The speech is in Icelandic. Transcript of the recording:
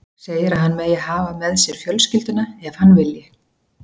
Segir að hann megi hafa með sér fjölskylduna ef hann vilji.